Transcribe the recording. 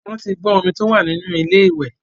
Wọ́n ti gbọ́n omi tó wà nínú ilé ìwẹ̀.